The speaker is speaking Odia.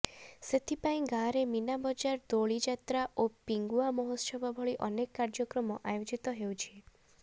ସେଥିପାଇଁ ଗାଁରେ ମୀନା ବଜାର ଦୋଳି ଯାତ୍ରା ଓ ପିଙ୍ଗୁଆ ମହୋତ୍ସବ ଭଳି ଅନେକ କାର୍ଯ୍ୟକ୍ରମ ଆୟୋଜିତ ହେଉଛି